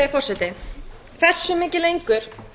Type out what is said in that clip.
virðulegi forseti hversu mikið lengur